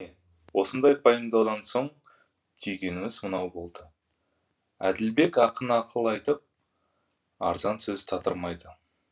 осындай пайымдаудан соң түйгеніміз мынау болды әділбек ақын ақыл айтып арзан сөз татырмайды